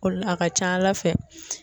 O de la a ka ca ala fɛ.